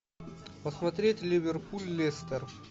посмотреть ливерпуль лестер